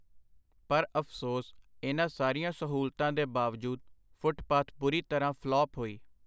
ਪਰ ਅਫਸੋਸ, ਇਹਨਾਂ ਸਾਰੀਆਂ ਸਹੂਲਤਾਂ ਦੇ ਬਾਵਜੂਦ ਫੁੱਟਪਾਥ ਬੁਰੀ ਤਰ੍ਹਾਂ ਫਲਾਪ ਹੋਈ.